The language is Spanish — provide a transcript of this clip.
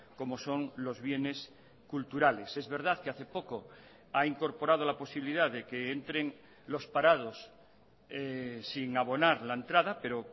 como son los bienes culturales es verdad que hace poco ha incorporado la posibilidad de que entren los parados sin abonar la entrada pero